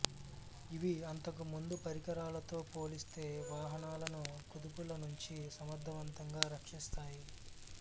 ఇవి అంతకు ముందు పరికరాలతో పోలిస్తే వాహనాలను కుదుపుల నుంచి సమర్థవంతంగా రక్షిస్తాయి